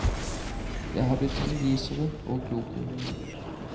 Jeg har blitt mye visere og klokere.